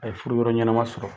A ye furu yɔrɔ ɲɛnama sɔrɔ.